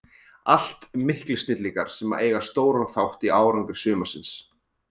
Allt miklir snillingar sem eiga stóran þátt í árangri sumarsins.